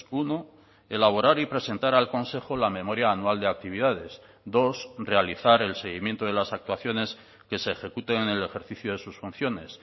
uno elaborar y presentar al consejo la memoria anual de actividades dos realizar el seguimiento de las actuaciones que se ejecuten en el ejercicio de sus funciones